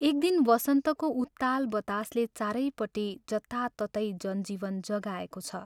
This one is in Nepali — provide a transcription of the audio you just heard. एक दिन वसन्तको उत्ताल बतासले चारैपट्टि जताततै जन जीवन जगाएको छ।